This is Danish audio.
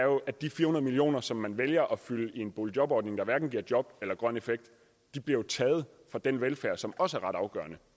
at de fire hundrede million kr som man vælger at fylde i en boligjobordning der hverken giver job eller grøn effekt bliver taget fra den velfærd som også er ret afgørende